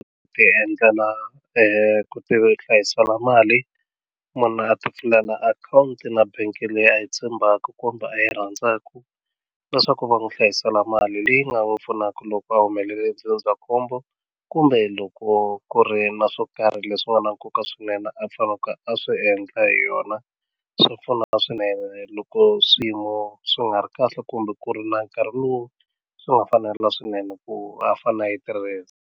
Ku ti endlela ku ti hlayisela mali munhu a ti pfulela akhawunti na bank leyi a yi tshembaka kumbe a yi rhandzaku leswaku va n'wi hlayisela mali leyi nga va pfunaka loko a humelele ndzindzakhombo kumbe loko ku ri na swo karhi leswi nga na nkoka swinene a faneke a swi endla hi yona swi pfuna swinene loko swiyimo swi nga ri kahle kumbe ku ri na nkarhi lowu swi nga fanela swinene ku a fane a yi tirhisa.